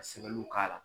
Ka sɛbɛnniw k'a la